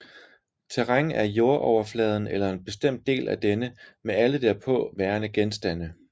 Terræn er jordoverfladen eller en bestemt del af denne med alle derpå værende genstande